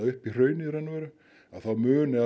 upp í hraunið þá muni